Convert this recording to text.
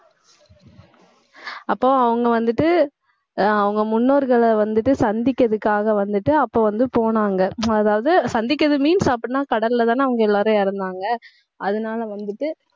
அப்போ, அவங்க வந்துட்டு ஆஹ் அவங்க முன்னோர்களை வந்துட்டு, சந்திக்கிறதுக்காக வந்துட்டு, அப்ப வந்து போனாங்க. அதாவது சந்திக்கிறது means அப்படின்னா கடல்லதானே அவங்க எல்லாரும் இறந்தாங்க. அதனாலே வந்துட்டு,